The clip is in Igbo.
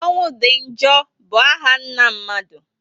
Ọnwụ di njọ bụ áhà nna mmadụ